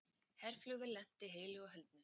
Herflugvél lenti heilu og höldnu